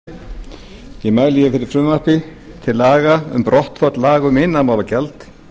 herra forseti hér mæli ég fyrir frumvarpi til laga um brottfall laga um iðnaðarmálagjald